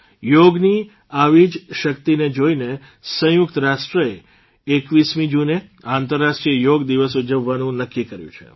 યોગની આવી જ શક્તિને જોઇને સંયુકત રાષ્ટ્રે ૨૧મી જૂને આંતરરાષ્ટ્રીય યોગ દિવસ ઉજવવાનું નક્કી કર્યું છે